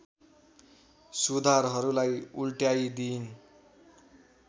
सुधारहरुलाई उल्टाइदिइन्